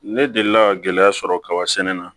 Ne delila ka gɛlɛya sɔrɔ kaba sɛnɛ na